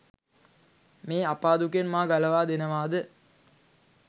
මේ අපා දුකෙන් මා ගලවා දෙනවාද?